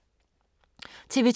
TV 2